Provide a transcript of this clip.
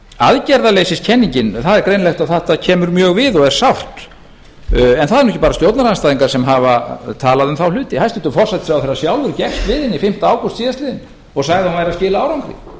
aðgerðarleysiskenningin það er greinilegt að þetta kemur mjög við og er sárt en það eru nú ekki bara stjórnarandstæðingar sem hafa talað um þá hluti hæstvirtur forsætisráðherra sjálfur gekkst við henni fimmta ágúst síðastliðinn og sagði að hún væri að skila árangri